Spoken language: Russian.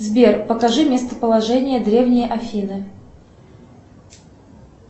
сбер покажи местоположение древней афины